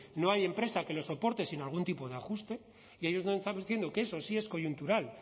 no hay empresa que lo soporte sin algún tipo de ajuste y ellos nos estaban diciendo que eso sí es coyuntural